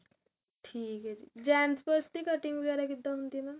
ਠੀਕ ਏ ਜੀ gents purse ਦੀ cutting ਵਗੈਰਾ ਕਿੱਦਾ ਹੁੰਦੀ ਏ ਨਾ